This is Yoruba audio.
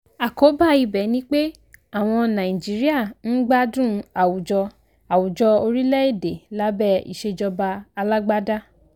àkóbá ibẹ̀ ni pé àwọn nàìjíríà ń gbádùn àwùjọ àwùjọ orílẹ̀ èdè lábẹ́ ìsèjọba alágbádá.